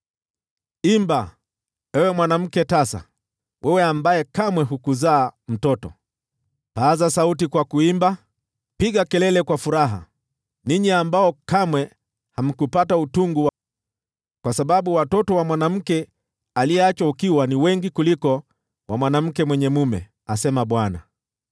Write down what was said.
“Imba, ewe mwanamke tasa, wewe ambaye kamwe hukuzaa mtoto; paza sauti kwa kuimba, piga kelele kwa furaha, wewe ambaye kamwe hukupata utungu; kwa sababu watoto wa mwanamke aliyeachwa ukiwa ni wengi kuliko wa mwanamke mwenye mume,” asema Bwana .